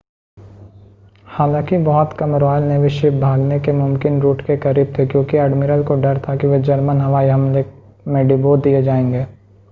हालांकि बहुत कम रॉयल नेवी शिप भागने के मुमकिन रूट के करीब थे क्योंकि एडमिरल को डर था कि वे जर्मनी हवाई हमले में डुबो दिए जाएंगे